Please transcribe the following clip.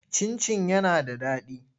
Cin-cin yana da daɗi.